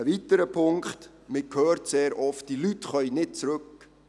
Ein weiterer Punkt: Man hört sehr oft, diese Leute könnten nicht zurückkehren.